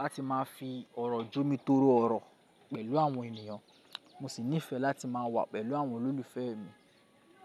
láti máa fi ọ̀rọ̀-òkòwò jomi torí ọ̀rọ̀ pẹ̀lú àwọn ènìyàn, mo sì nífẹẹ láti máa wà pẹ̀lú àwọn olólùfẹ́ mi.